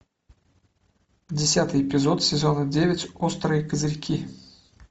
десятый эпизод сезона девять острые козырьки